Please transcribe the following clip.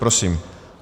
Prosím.